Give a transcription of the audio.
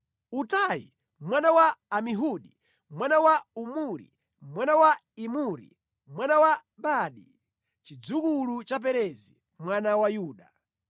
Utai mwana wa Amihudi, mwana wa Omuri, mwana wa Imuri, mwana wa Bani, chidzukulu cha Perezi mwana wa Yuda.